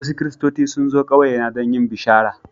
Wasu Kiristoci sun zo ƙauyena don yin bishara.